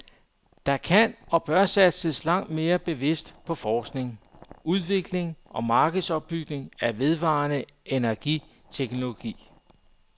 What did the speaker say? Der kan og bør satses langt mere bevidst på forskning, udvikling og markedsopbygning af vedvarende energiteknologi.